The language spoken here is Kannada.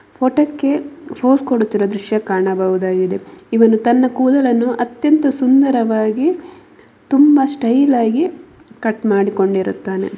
ಫೋಟೋಕ್ಕೆ ಫೋಸ್ ಕೊಡುತ್ತಿರುವ ದೃಶ್ಯ ಕಾಣಬಹುದಾಗಿದೆ ಇವನು ತನ್ನ ಕೂದಲನ್ನು ಅತ್ಯಂತ ಸುಂದರವಾಗಿ ತುಂಬಾ ಸ್ಟೈಲ್ ಆಗಿ ಕಟ್ ಮಾಡಿಕೊಂಡಿರುತ್ತಾನೆ.